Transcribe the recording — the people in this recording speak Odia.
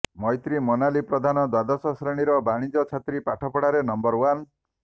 ମୈତ୍ରୀ ମୋନାଲି ପ୍ରଧାନ ଦ୍ୱାଦଶ ଶ୍ରେଣୀର ବାଣିଜ୍ୟ ଛାତ୍ରୀ ପାଠପଢ଼ାରେ ନମ୍ବର ୱାନ୍